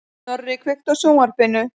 Snorri, kveiktu á sjónvarpinu.